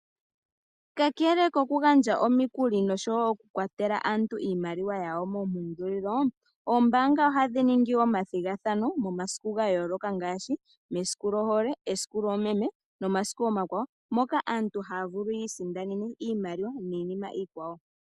Kakele kokugandja omikuli nosho wo okukwatela aantu iimaliwa yawo moompungulilo, ombaanga ohadhi ningi omathigathano momasiku ga yooloka ngaashi: mesiku lyohole, mesiku lyoomeme nomasiku omakwawo, moka aantu haya vulu yi isindanene iimaliwa niinima iikwawo.